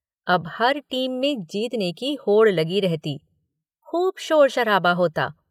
अब हर टीम में जीतने की होड़ लगी रहती। खूब शोर शराबा होता